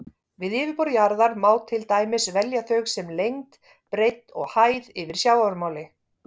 Við yfirborð jarðar má til dæmis velja þau sem lengd, breidd og hæð yfir sjávarmáli.